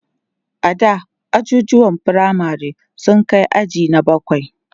ada ajujuwan firamare sun Kai aji na bakwai